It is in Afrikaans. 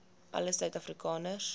alle suid afrikaners